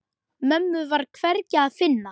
Mömmu var hvergi að finna.